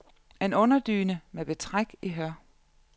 En underdyne med betræk i hør.